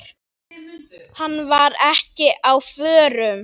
Hann var ekki á förum.